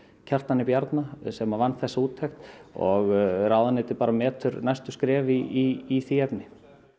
Kjartani Bjarna sem að vann þessa úttekt og ráðuneytið bara metur næstu skref í því efni